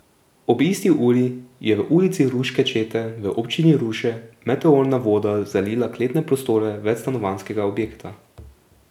Ob isti uri je v Ulici Ruške čete v občini Ruše meteorna voda zalila kletne prostore večstanovanjskega objekta.